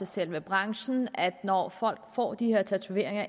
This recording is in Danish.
selve branchen med at når folk får de her tatoveringer